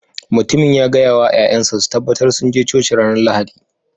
Mutumin ya gaya wa 'ya'yansa su tabbatar sun je Coci ranar Lahadi